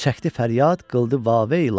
Çəkdi fəryad qıldı vaveyla.